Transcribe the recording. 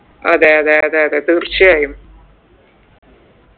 അതെ അതെ അതെ അതെ തീർച്ചയായും